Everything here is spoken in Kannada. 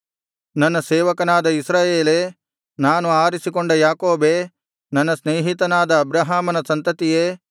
ನನ್ನ ಸೇವಕನಾದ ಇಸ್ರಾಯೇಲೇ ನಾನು ಆರಿಸಿಕೊಂಡ ಯಾಕೋಬೇ ನನ್ನ ಸ್ನೇಹಿತನಾದ ಅಬ್ರಹಾಮನ ಸಂತತಿಯೇ